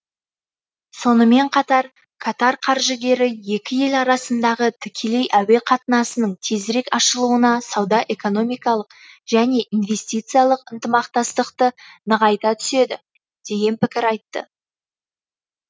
сонымен қатар катар қаржыгері екі ел арасындағы тікелей әуе қатынасының тезірек ашылуына сауда экономикалық және инвестициялық ынтымақтастықты нығайта түседі деген пікір айтты